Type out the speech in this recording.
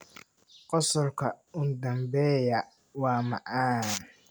Qosolka u dambeeya waa macaan.